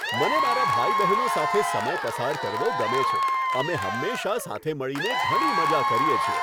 મને મારા ભાઈ બહેનો સાથે સમય પસાર કરવો ગમે છે. અમે હંમેશા સાથે મળીને ઘણી મજા કરીએ છીએ.